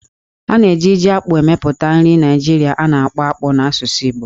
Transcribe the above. A na-eji Jí-akpụ emepụta nri Naijiria a na-akpọ "Akpu" n'asụsụ Igbo